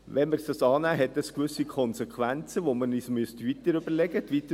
Wenn wir dies annehmen, hat es also gewisse Konsequenzen, die wir uns weiter überlegen müssten.